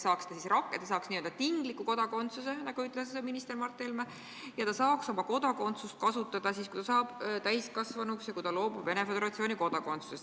Ja ta saaks n-ö tingliku kodakondsuse, nagu ütles minister Mart Helme, ja ta saaks õigust Eesti kodakondsusele kasutada siis, kui ta saab täiskasvanuks ja loobub Venemaa Föderatsiooni kodakondsusest.